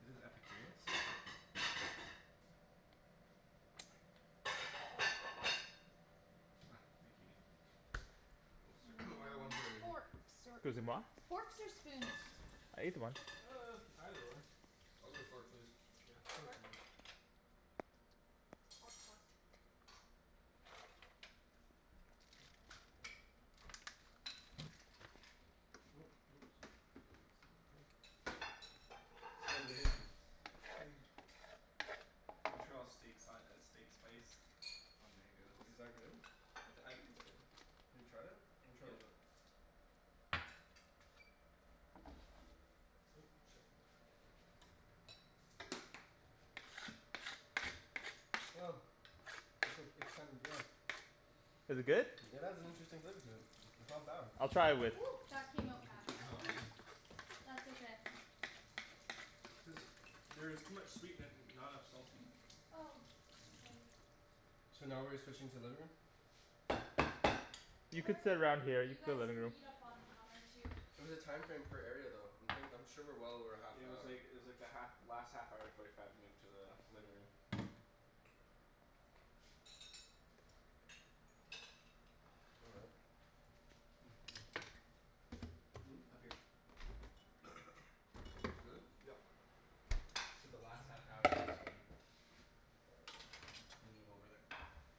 Is this Epicurious? Here. Ah, thank you Nikki. I most I certainly got one Hmm, fork right here. forks or excusez-moi. Forks or spoons? I ate the one. Uh, either one. I'll take a fork please. Yeah, fork for Fork me. Fork, fork. gonna get some of that. Montreal steak si- uh steak spice on mango. Is that good? I t- I think it's good. Have you tried it? Let me try a Yeah. little bit. Ooh, shit. It's ok- it's kinda, yeah. Is it good? It has an interesting flavor to it. It's not bad. I'll try it with that came out fast That's okay. There's there is too much sweet in it and not enough salty. Oh, k. So now we're switching to living room? You could Or sit around here, you you could go guys living can room. eat up on the counter too. It was a time frame per area though. I'm thin- I'm sure we're well over half Yeah it an was hour. like it was like the half last half hour forty five move to the living room. All right. Hmm? Hmm? Mmm. Up here. Really? Yep. I said the last half hour M- move over there.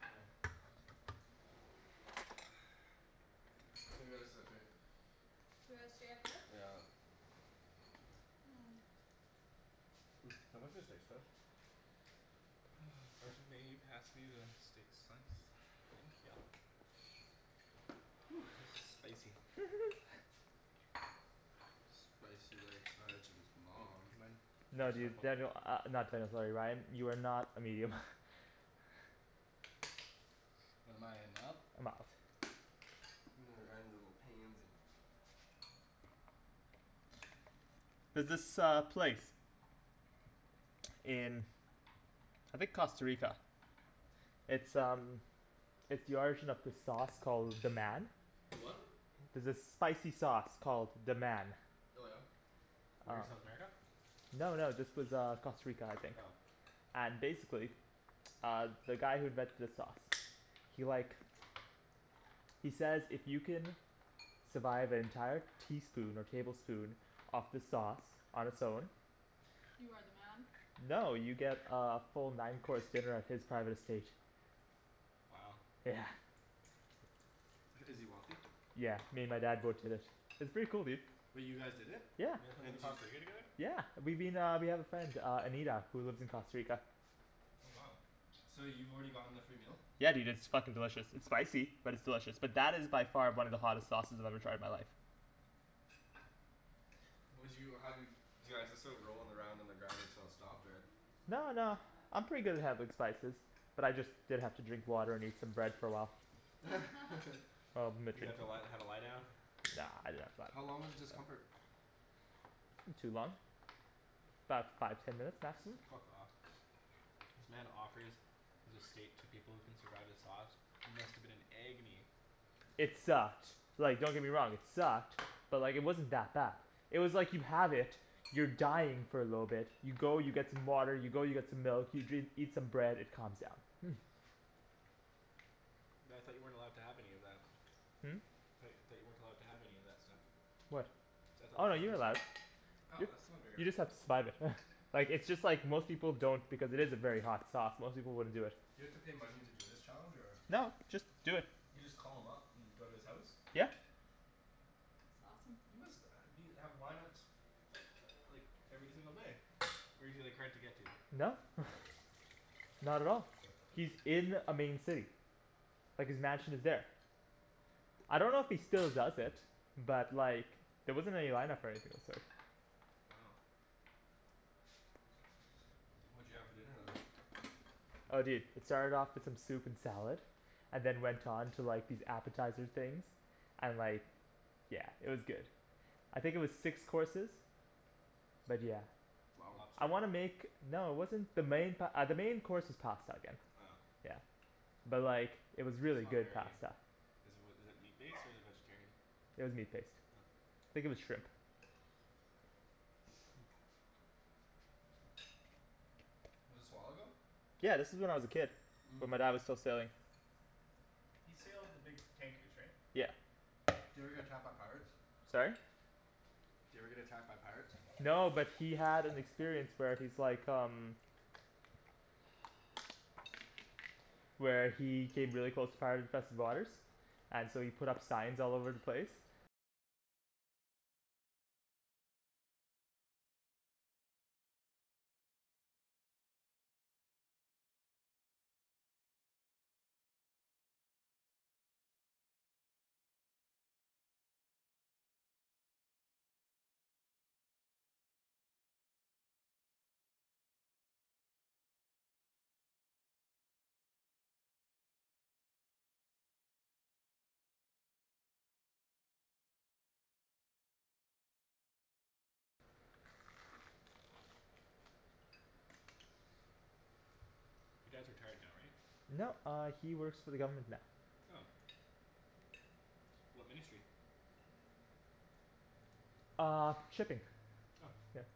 Oh. I think we gotta sit up here. We gotta stay up here? Yeah. Mmm Can you pass me the steak spice? Arjan may you pass me the steak slice? Thank ya. This is spicy. Spicy like Arjan's mom. Mind No passing my dude. phone? Daniel, uh not Daniel, sorry Ryan, you are not a medium. What am I, a mild? A mild. Ryan's a little pansy. There's this uh place. in I think Costa Rica. It's um It's the origin of this sauce called "Deman" The what? There's this spicy sauce called "Deman" Oh yeah? Where? South America? No no, this was uh Costa Rica I think. Oh. And basically uh the guy who invented the sauce he like he says if you can survive an entire teaspoon or tablespoon of the sauce on its own You are the man? No, you get uh a full nine course dinner at his private estate. Wow. Yeah. Is he wealthy? Yeah, me and my dad both did it. It's pretty cool, dude. Wait, you guys did it? Yeah. You guys went to And the did you Costa Rica j- together? Yeah we've been uh, we have a friend uh Anita who lives in Costa Rica. Oh wow. So you've already gotten the free meal? Yeah dude, it's fucking delicious. It's spicy, but it's delicious. But that is by far one of the hottest sauces I've ever tried in my life. Would you, how, do you, do you guys just start rolling around on the ground until it stopped or No no, I'm pretty good good spices. But I just did have to drink water and eat some bread for a while. Oh You had to li- have a lie down? No no it's How fine. long was the discomfort? Not too long. 'bout five, ten minutes maximum. Fuck off. This man offers his estate to people who can survive the sauce. You must've been in agony. It sucked, like don't get me wrong, it sucked. But like it wasn't that bad. It was like you have it, you're dying for a little bit, you go you get some water, you go you get some milk, you dr- eat some bread, it calms down. But I thought you weren't allowed to have any of that. Hmm? Tho- thought you weren't allowed to have any of that stuff. What? See, I thought the Oh no, point you're was allowed. Oh Y- that's not a very you hard just have to then survive it. Like, it's just like most people don't because it is a very hot sauce, most people wouldn't do it. You have to pay money to do this challenge or? No, just do it. You just call him up and go to his house? Yeah. That's awesome. He must uh be, have lineups uh uh like every single day. Or is he like hard to get to? No. Not at all. He's in a main city. Like his mansion is there. I don't know if he still does it. But like there wasn't any lineup or anything of the sort. Wow. What'd you have for dinner then? Oh dude, it started off with some soup and salad and then went on to like these appetizer things. And like Yeah, it was good. I think it was six courses. But yeah. Wow. I Lobster? wanna make... No it wasn't the main pa- uh the main course was pasta again. Oh. Yeah. But like it was It's really not good very pasta. Is it wi- is it meat-based or is it vegetarian? It was meat based. Oh. Think it was shrimp. Was this a while ago? Yeah, this was when I was a kid. Mmm. When my dad was still sailing. He sailed the big tankers right? Yeah. Did he ever get attacked by pirates? Sorry? Did he ever get attacked by pirates? No, but he had an experience where he's like um Where he hid really close to pirate infested waters And so he put up signs all over the place. You dad's retired now right? No, uh he works for the government now. Oh. What ministry? Uh, shipping. Oh. Yeah.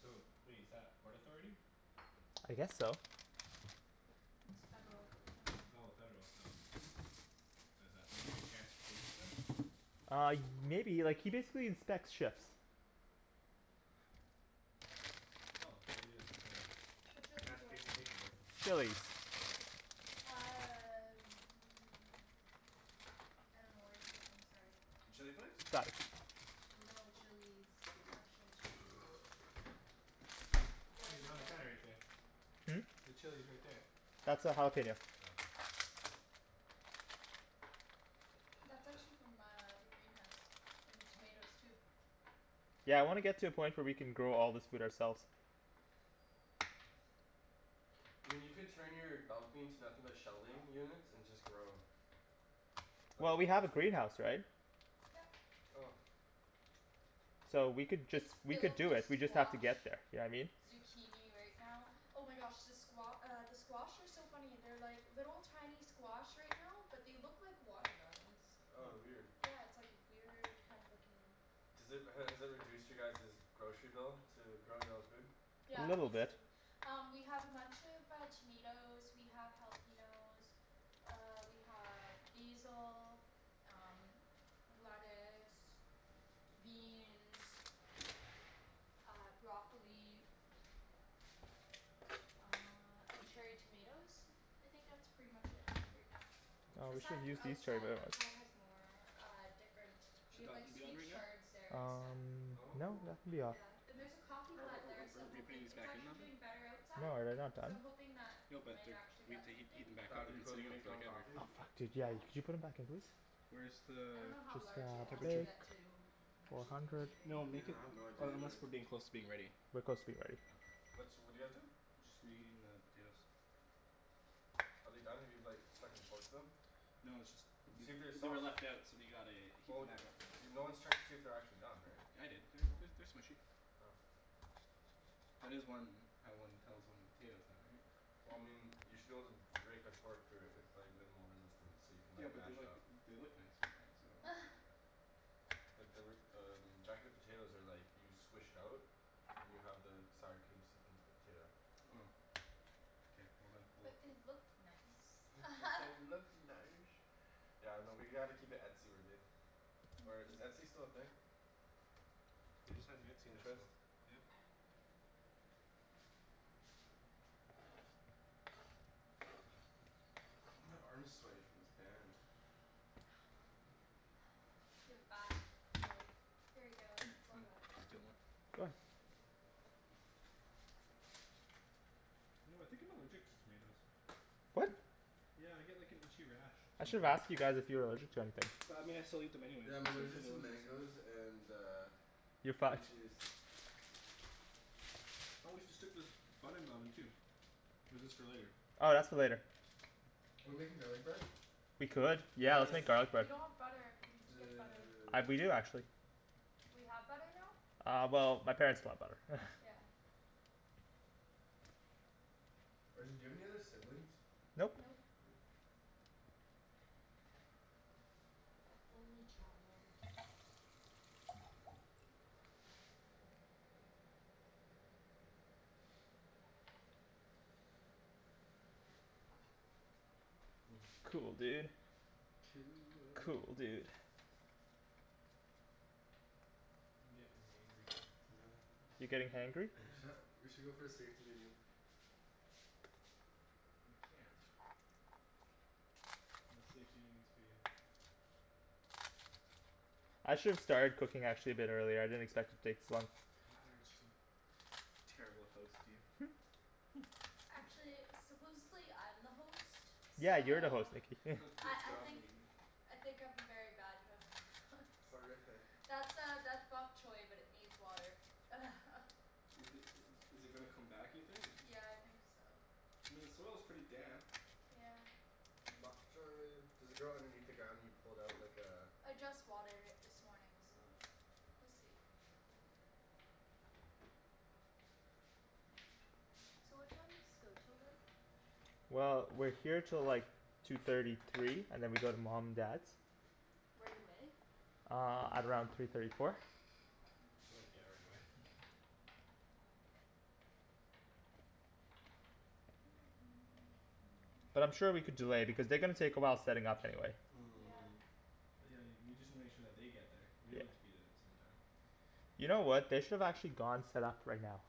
So, wait, is that Port Authority? I guess so. It's federal uh Oh, federal, so What is that, Ministry of Transportation then? Uh y- maybe, like he basically inspects ships. Oh, maybe it's the Whatcha lookin' for? Transportation Safety Board. Chilis. Uh I dunno where you put them, sorry. The chili flakes? Got it. Oh. No, chilis. Actual chilis. You guys There you we go, on the gotta counter right there. Hmm? The chili's right there. That's a jalapeno. Oh. That's actually from uh the greenhouse. And the tomatoes too. Yeah, I Cool. wanna get to a point where we can grow all this food ourselves. I mean you could turn your balcony into nothing but shelving units and just grow. Like Well, we have a Bushwick. greenhouse, right? Yep. Oh. So we could just, It's we could filled do with it, we just have to squash. get there, you know what I mean? Zucchini right now. Oh my gosh the squa- uh the squash are so funny. They're like little tiny squash right now but they look like watermelons. Oh weird. Yeah it's like weird kind of looking Does it, has it reduced you guys's grocery bill, to grow your own food? A Yeah, little bit. basically. Um we have a bunch of uh tomatoes, we have jalapenos uh we have basil, um lettuce beans uh, broccoli uh and cherry tomatoes? I think that's pretty much it right now. Oh, we should Aside Interesting. have from used these cherry outside. Outside has more uh different. We Should that have like oven be on sweet right now? chards there and stuff. Um, Oh no, cool. that can be off. Yeah. And there's a coffee Or are are plant there are so I'm aren't we putting hoping. these It's back in the actually oven? doing better No, outside. are you not So done? I'm hoping that No we but might they're actually we get have to heat something. heat them back up. That'd They've be been cool, do you sitting out make for your own like ever. coffee? Oh, fuck dude, yeah, Yeah. y- could you put them back in please? Where's the I dunno how Just large it has uh to temperature? get to Four actually do hundred. anything No though. make Yeah, it, I have no idea unless either. we're being closer to being ready. We're close to being ready. Okay. What's, what're you guys doing? Just reheating the potatoes. Are they done? Have you like stuck and forked them? No it's just, they See if they're they were soft. left out so we gotta heat Well them y- back up. you're, no one's checked to see if they're actually done, right? I did. They're they're they're smushy. Oh. That is one, how one tells when a potato's done right? Well Hmm. I mean, you should be able to rake a fork through it with like minimal resistance so you can Yeah like but they're mash it like, up. they look nice right now so I don't want to do that. But they were um, jacket potatoes are like you squish it out and you have the sour cream seep into the potato. Oh. K, well then, we'll But they look nice. But they look nice. Yeah, no, we gotta keep it etsy-worthy. Or is Etsy still a thing? They just had an Etsy Pinterest? national. Yeah. My arm's sweaty from this band. Give it back. It's like "Here you go, Hey it's I'm all gonna wet." steal one. You know, I think I'm allergic to tomatoes. What? Yeah I get like an itchy rash I should've sometimes. asked you guys if you were allergic to anything. But I mean I still eat them anyways Yeah, I'm cuz they're so allergic to delicious. mangoes and uh You're cream fucked. cheese. Oh we should stick this bun in the oven too. Or is this for later? Oh, that's for later. We're making garlic bread? We could. Yeah, let's Yes! make garlic We bread. don't have butter. We need to get butter. I d- we Dude. do actually. We have butter now? Uh well my parents bought butter. Yeah. Arjan, do you have any other siblings? Nope. Nope. Only child. Mm. Cool, dude. Cool. Cool, dude. I'm gettin' hangry You're getting hangry? We should go for a safety meeting. We can't. No safety meetings for you. I should've started cooking actually a bit earlier, I didn't expect to take this long. God, Arjan. Terrible host, you Actually, supposedly I'm the host, Yeah, you're the host so Nikki I Good I job, think Nikki. I think I'm a very bad host Horrific. That's uh that's bok choi but it needs water Is it is it gonna come back you think? Yeah, I think so. I mean the soil's pretty damp. Yeah. Bok choi. Does it grow underneath the ground and you pull it out like uh I just watered it this morning so we'll see. So what time does this go 'til then? Well, we're here till like two thirty, three, and then we go to mom and dad's. Right away? Uh, at around three thirty, four. So like, yeah, right away But I'm sure we could delay because they're gonna take a while setting up anyway. Yeah. But yeah, y- we just need to make sure that they get there. We Yeah. don't need to be there at the same time. You know what, they should've actually gone set up right now.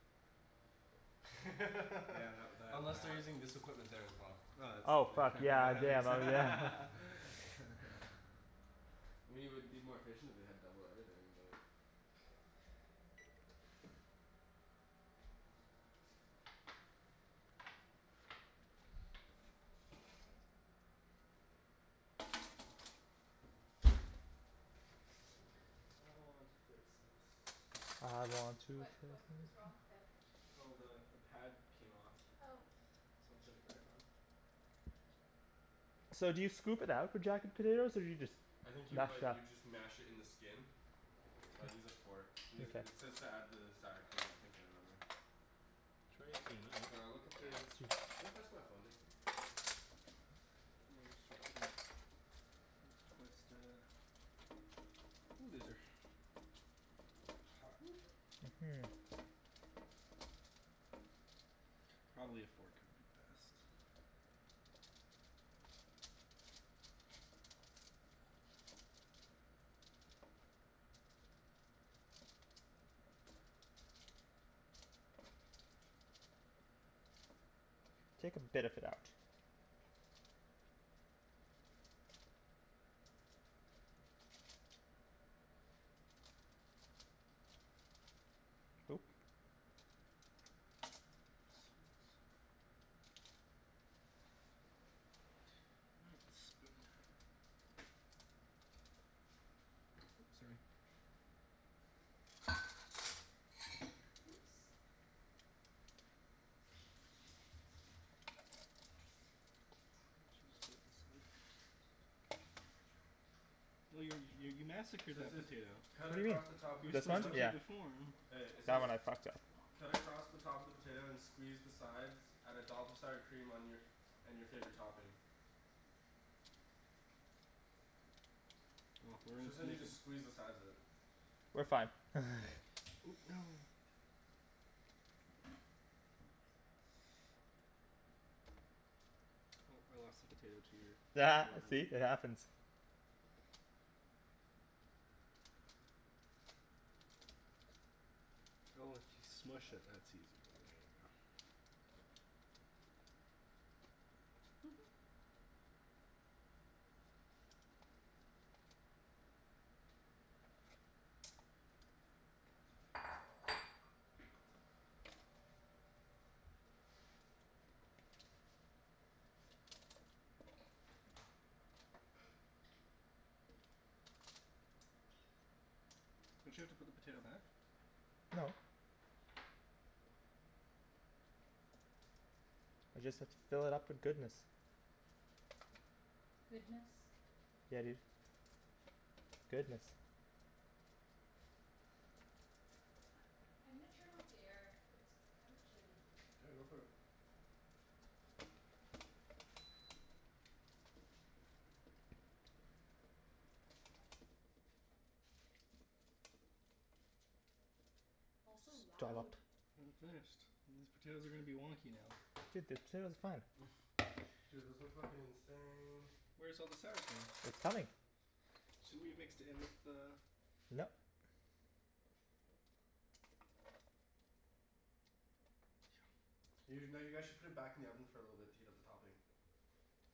Yeah, tha- that Unless they're that. using this equipment there as well. Oh, Oh it's fuck, du- yeah that yeah makes my b- yeah. I mean it would be more efficient if they had double everything, but I want to fix this. I want to What fill what was the wrong with it? Oh the the pad came off. Oh So I'm putting it back on. So do you scoop it out for jacket potatoes or do you just I think you m- mash it like up? you just mash it in the skin. Here I'd you use go. a fork. It Mkay. says to add the sour cream I think I remember. Try using a knife. Here, I'll look at the, can you pass my phone Nikki? Twist it. Ooh, these are hot. Mhm Hmm. Probably a fork would be best. Take a bit of it out. Oop- Oh, spoon. Oops, sorry. Oops. Oh you're you you massacred So it that says potato. cut What do you mean? across the top of the You were This one? supposed to potato. keep Yeah. the form. Hey, it That says one I fucked up. cut across the top of the potato and squeeze the sides. Add a dollop of sour cream on your, and your favorite topping. We're So it sounds gonna like make you it just squeeze the sides of it. We're fine Ooh, no Oh I lost a potato to your See? It happens. Oh if you smush it that's easier. There you go. Don't you have to put the potato back? No. I just have to fill it up with goodness. Goodness? Yeah dude. Goodness. I'm gonna turn off the air. It's kind of chilly. Yeah, go for it. Also loud. Dollop. I hadn't finished. These potatoes are gonna be wonky now. Dude, the potatoes are fine. Dude those look fuckin' insane. Where's all the sour cream? It's coming. Shouldn't we have mixed it in with the Nope. You no, you guys should put it back in the oven for a little bit to heat up the topping.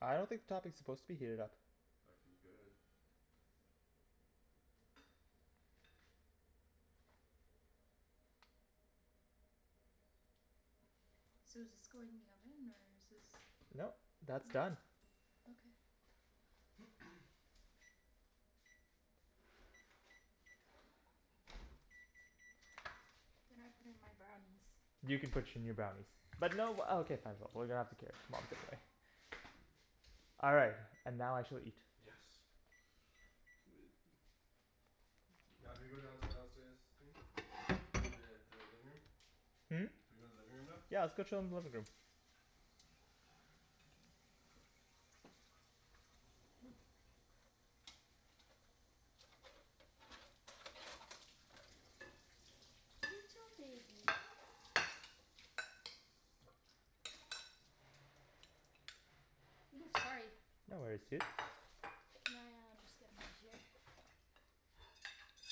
I don't think the topping is supposed to be heated up. Fucking good. So does this go in the oven or is this Nope, that's done. Okay. Then I put in my brownies. You can put your new brownies. But no uh okay fine but we're gonna have to carry it, mom's away. All right, and now I shall eat. Yes. Now do we go down to the downstairs thing? I mean the the living room? Hmm? Do we go living room now? Yeah, let's go chill in the living room. Ooh. Little baby. Woo, sorry. No worries, dude. Can I uh just get in over here?